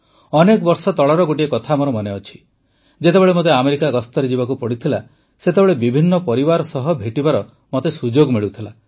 ଅନେକ ବର୍ଷ ତଳର ଗୋଟିଏ କଥା ମୋର ମନେଅଛି ଯେତେବେଳେ ମୋତେ ଆମେରିକା ଗସ୍ତରେ ଯିବାକୁ ପଡ଼ିଥିଲା ସେତେବେଳେ ବିଭିନ୍ନ ପରିବାର ସହ ଭେଟିବାର ମୋତେ ସୁଯୋଗ ମିଳୁଥିଲା